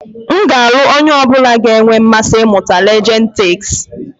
M ga-alụ onye ọ bụla ga-enwe mmasị ịmụta Legend Takes.